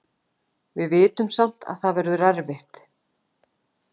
Við vitum samt að það verður erfitt.